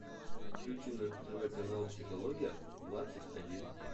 включи на тв канал психология двадцать один